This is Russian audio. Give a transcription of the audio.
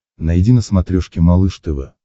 найди на смотрешке малыш тв